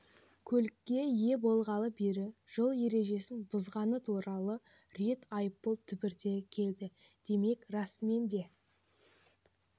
көлікке ие болғалы бері жол ережесін бұзғаны туралы рет айыппұл түбіртегі келді демек расымен де